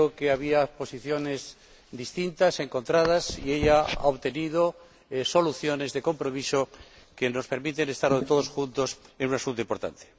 Había posiciones distintas, encontradas, y ella ha obtenido soluciones de compromiso que nos permiten estar hoy todos juntos en un asunto importante.